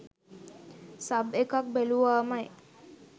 sub එක්ක බැලුවාමයි